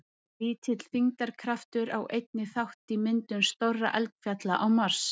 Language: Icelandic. Lítill þyngdarkraftur á einnig þátt í myndum stórra eldfjalla á Mars.